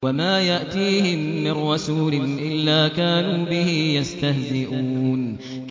وَمَا يَأْتِيهِم مِّن رَّسُولٍ إِلَّا كَانُوا بِهِ يَسْتَهْزِئُونَ